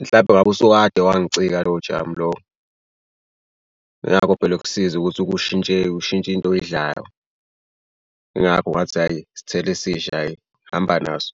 mhlampe ngabe usukade wangicika lowo jamu lowo. Nakho phela ukusiza ukuthi kushintshe ushintshe into oyidlayo. Ingakho ngathi hhayi isithelo esisha ayi ngihamba naso.